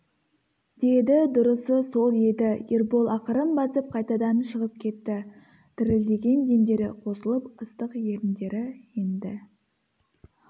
деді дұрысы сол еді ербол ақырын басып қайтадан шығып кетті дірілдеген демдері қосылып ыстық еріндері енді